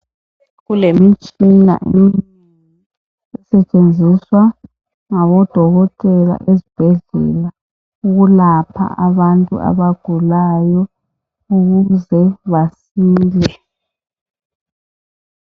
kulemitshina esitshenziswa ngabo dokotela ezibhedlela ukulapha abantu abagulayo ukuze basile